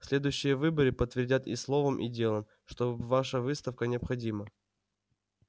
следующие выборы подтвердят и словом и делом что ваша выставка необходима